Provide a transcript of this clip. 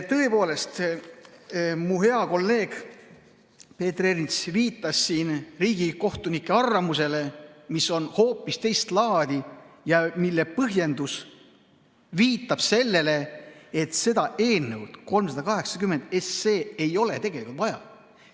Tõepoolest, mu hea kolleeg Peeter Ernits viitas siin riigikohtuniku arvamusele, mis on hoopis teist laadi ja mille põhjendus viitab sellele, et eelnõu 380 ei ole tegelikult vaja.